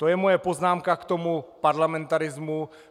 To je moje poznámka k tomu parlamentarismu.